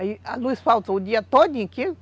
Aí a luz faltou o dia todinho.